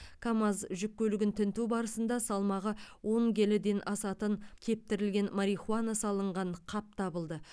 камаз жүк көлігін тінту барысында салмағы он келіден асатын кептірілген марихуана салынған қап табылды